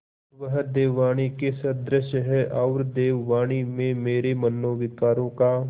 वह देववाणी के सदृश हैऔर देववाणी में मेरे मनोविकारों का